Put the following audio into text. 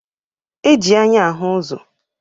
E ji anya ahụ ụzọ.